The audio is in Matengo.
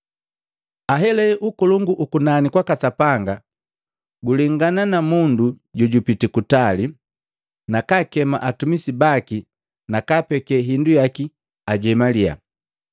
“Ahelahe Ukolongu ukunani kwaka Sapanga gulengana na mundu jojupiti kutali, nakakema atumisi baki nakapeke hindu yaki ajemalya.